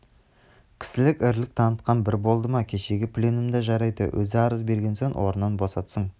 кісілік ірілік танытқан бір болды ма кешегі пленумда жарайды өзі арыз берген соң орнынан босатсын